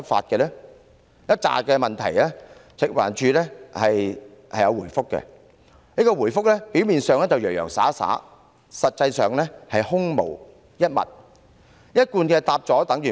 對於以上一系列問題，食環署有作出回覆，但其回覆表面上洋洋灑灑，實際上空洞無物，貫徹一向作風，答覆有等於無。